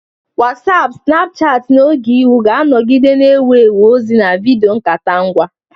Wasiapu, Sinapuchati, na Ogeihu ga-anọgide na-ewu ewu ozi na vidiyo nkata ngwa.